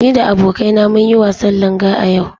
Ni da abokaina mun yi wasan Langa a yau.